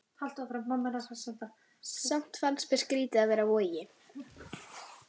Samt fannst mér skrýtið að vera á Vogi.